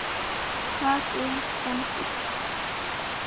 Far vel rembur.